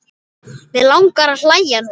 Mig langar að hlæja núna.